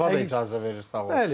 Hava da icazə verir, sağ ol.